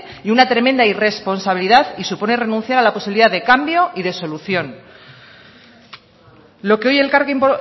y una tremenda irresponsabilidad y supone renunciar a la posibilidad de cambio y de solución lo que hoy elkarrekin